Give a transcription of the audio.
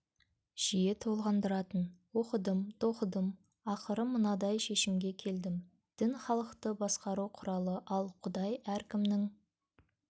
жиі толғандыратын оқыдым тоқыдым ақыры мынадай шешімге келдім дін халықты басқару құралы ал құдай әркімнің